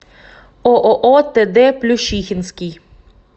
ооо тд плющихинский